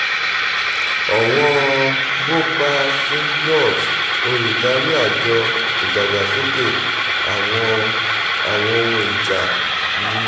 ọ̀wọ́n bhopal singhiofs olùdarí àjọ́ ìdàgbàsókè àwọn àwọn ohun ìjà (min